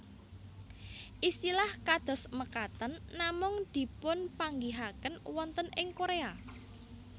Istilah kados mekaten namung dipunpanggihaken wonten ing Korea